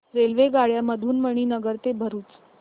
रेल्वेगाड्यां मधून मणीनगर ते भरुच